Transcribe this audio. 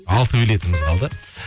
алты билетіміз қалды